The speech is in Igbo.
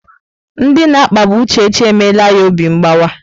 Ndị na-akpagbu Uchechi emela ya obi mgbawa.